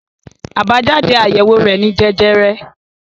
Àbájáde àyẹ̀wò rẹ̀ ni jẹjẹrẹ.